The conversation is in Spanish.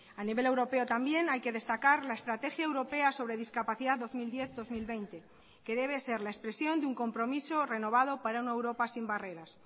a nivel europeo también hay que destacar la estrategia europea sobre discapacidad dos mil diez dos mil veinte que debe ser la expresión de un compromiso renovado para una europa sin barreras